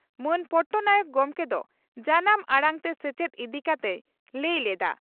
ᱢᱟᱹᱱ ᱯᱚᱴᱱᱟᱭᱮᱠ ᱜᱚᱢᱠᱮ ᱫᱚ ᱡᱟᱱᱟᱢ ᱟᱲᱟᱝ ᱛᱮ ᱥᱮᱪᱮᱫ ᱤᱫᱤ ᱠᱟᱛᱮᱭ ᱞᱟᱹᱭ ᱞᱮᱫᱼᱟ ᱾